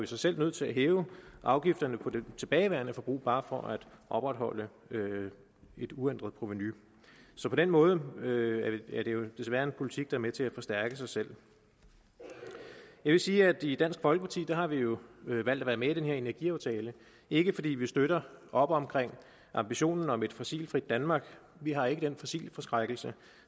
sig selv nødt til at hæve afgiften på det tilbageværende forbrug bare for at opretholde et uændret provenu så på den måde er det desværre en politik der er med til at forstærke sig selv jeg vil sige at i dansk folkeparti har vi jo valgt at være med i den her energiaftale ikke fordi vi støtter op om ambitionen om et fossilfrit danmark vi har ikke den fossilforskrækkelse